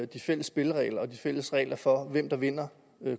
de fælles spilleregler og de fælles regler for hvem der vinder